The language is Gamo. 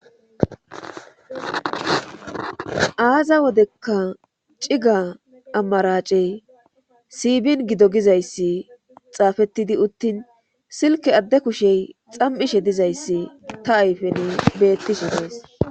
Aza wodekka cigga amaracey siibin gido gizayssi xaafettidi uttin silke adde kushey xam'ishshe dizayssi ta ayfeni beettishshe dees